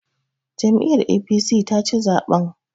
Jam'iyyar APC taci zaɓen.